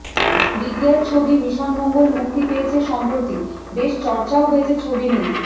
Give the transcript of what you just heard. বিদ্যার ছবি মিশন মঙ্গল মুক্তি পেয়েছে সম্প্রতি বেশ চর্চাও হয়েছে ছবি নিয়ে